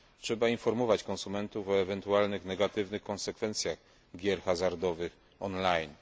Trzeba informować konsumentów o ewentualnych negatywnych konsekwencjach gier hazardowych on line.